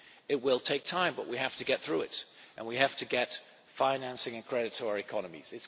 It will take time, but we have to get through it and we have to get financing and credits for our economies.